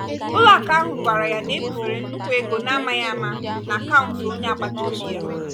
ụlọakụ ahụ gwara ya na ebufere nnukwu ego n’amaghi ama n’akaụntụ onye agbata obi ya.